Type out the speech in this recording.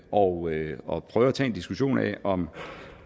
og og prøve at tage en diskussion af om